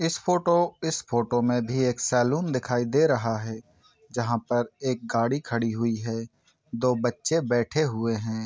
इस फोटो इस फोटो में भी एक सैलून दिखाई दे रहा है जहाँ पर एक गाड़ी खड़ी हुई है दो बच्चे बैठे हुए हैं।